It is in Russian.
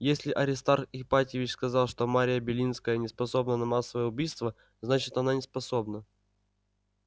если аристарх ипатьевич сказал что мария белинская не способна на массовое убийство значит она неспособна